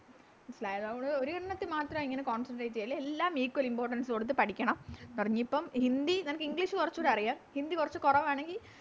മനസ്സിലായോ അതാ ഒരെണ്ണത്തിൽ മാത്രം ഇങ്ങനെ Concentrate ചെയ്യല്ലേ എല്ലാം Equal importance കൊടുത്ത് പഠിക്കണം പറഞ്ഞ് നീയിപ്പം ഹിന്ദി നിനക്ക് English കൊറച്ചൂടി അറിയാം ഹിന്ദി കൊറച്ച് കൊറവാണെങ്കി